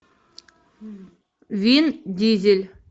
вин дизель